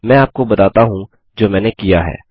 मैं आपको बताता हूँ जो मैंने किया है